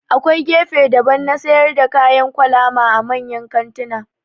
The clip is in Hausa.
Akwai gefe daban na sayar da kayan kwalama a manyan kantuna